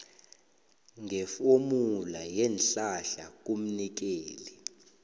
ngefomula yeenhlahla kumnikeli